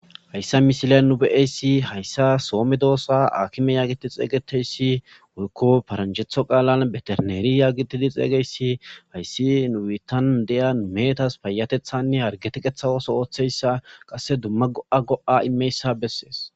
Hayssa misila nu be7eyssi hayssa soome doossa akime yaagiidi xeeygeteyssi wolko faranchetho qaalan beterneeri yagitidi xeeygeyssi hayssi nuitan deya meetas payatethanne hargeteqethawoso ooththeyssa qasse dumma go7a go7a immeyssa bessees.